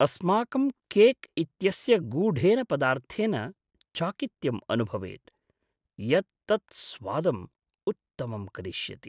अस्माकं केक् इत्यस्य गूढेन पदार्थेन चाकित्यं अनुभवेत्, यत् तत् स्वादम् उत्तमं करिष्यति।